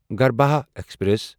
گرٛبھا express